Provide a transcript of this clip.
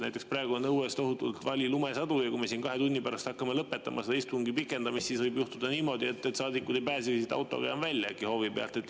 Näiteks praegu on õues tohutult vali lumesadu ja kui me siin kahe tunni pärast hakkame seda istungi, siis võib juhtuda niimoodi, et saadikud ei pääse autoga enam hoovist välja.